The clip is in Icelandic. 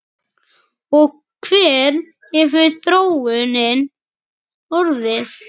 Og hver hefur þróunin orðið?